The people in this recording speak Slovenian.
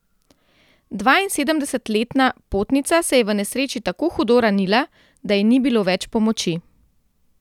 Dvainsedemdesetletna potnica se je v nesreči tako hudo ranila, da ji ni bilo več pomoči.